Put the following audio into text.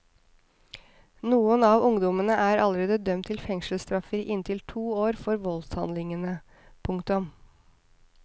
Noen av ungdommene er allerede dømt til fengselsstraffer i inntil to år for voldshandlingene. punktum